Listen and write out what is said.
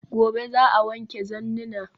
Gobe ​​za'a wanke zannina